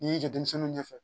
N'i y'i jɔ denmisɛnninw ɲɛ fɛ